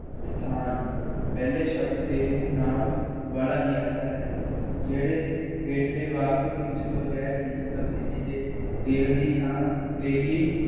ਸਥਾਨ ਪਹਿਲੇ ਸ਼ਬਦ ਤੇਲ ਨਾਂਵ ਵਾਲਾ ਹੀ ਰਹਿੰਦਾ ਹੈ । ਜਿਹੜੇ ਹੇਠਲੇ ਵਾਕ ਵਿੱਚ ਬਗੈਰ ਕਿੱਤੀ ਤਬਦੀਲੀ ਦੇ ਤੇਲ ਦੀ ਥਾਂ ਤੇਲੀ